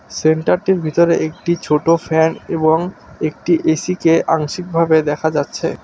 সেন্টারটির ভিতরে একটি ছোটো ফ্যান এবং একটি এসিকে আংশিকভাবে দেখা যাচ্ছে।